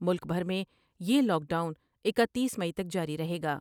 ملک بھر میں یہ لاک ڈاؤن اکتیس مئی تک جاری رہے گا ۔